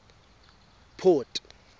port